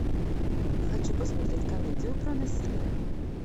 хочу посмотреть комедию про насилие